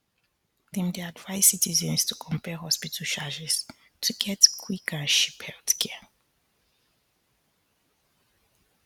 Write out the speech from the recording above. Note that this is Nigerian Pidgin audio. dem dey advise citizens to compare hospital charges to get quick and cheap healthcare